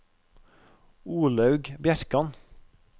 Olaug Bjerkan